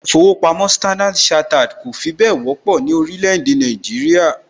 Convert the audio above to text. ilé īfowòpamó Standard chartered kọ̀ fi bẹ́ẹ̀ wọ́pọ̀ ní orílẹ̀ èdè Nàìjíríà